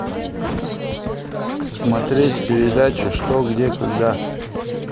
смотреть передачу что где когда